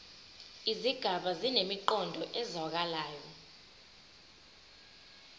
izigaba zinemiqondo ezwakalayo